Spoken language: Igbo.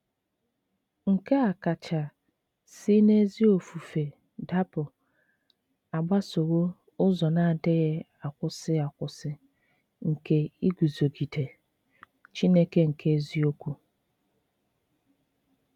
Nke a kacha si n'ezi ofufe dapụ agbasowo ụzọ na-adịghị akwụsị akwụsị nke iguzogide “ Chineke nke eziokwu. ”